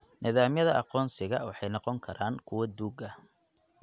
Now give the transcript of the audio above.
Nidaamyada aqoonsiga waxay noqon karaan kuwo duug ah.